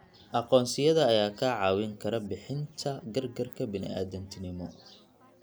Aqoonsiyada ayaa kaa caawin kara bixinta gargaarka bini'aadantinimo.